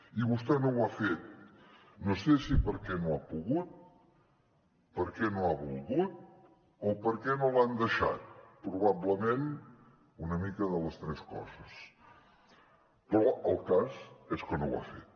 i vostè no ho ha fet no sé si perquè no ha pogut perquè no ha volgut o perquè no l’han deixat probablement una mica de les tres coses però el cas és que no ho ha fet